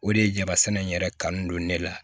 O de ye jaba sɛnɛ in yɛrɛ kanu don ne la